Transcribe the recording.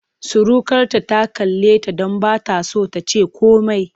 Surukarta ta kalleta don ba ta so ta ce komai.